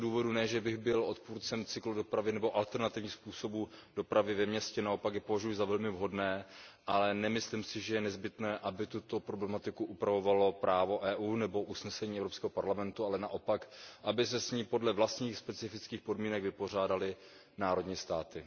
Ne že bych byl odpůrcem cyklodopravy nebo alternativních způsobů dopravy ve městě, naopak je považuji za velmi vhodné, ale nemyslím si, že je nezbytné, aby tuto problematiku upravovalo právo EU nebo usnesení Evropského parlamentu, ale naopak, aby se s ní podle vlastních specifických podmínek vypořádaly národní státy.